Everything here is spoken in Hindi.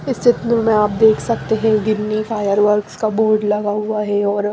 इस चित्र में आप देख सकते हैं गिननी फायर वर्क्स का बोर्ड लगा हुआ है और--